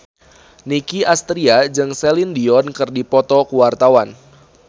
Nicky Astria jeung Celine Dion keur dipoto ku wartawan